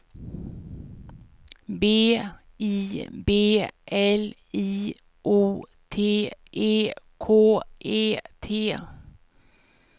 B I B L I O T E K E T